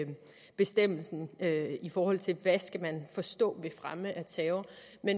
bestemmelsen i forhold til hvad man forstå ved fremme af terror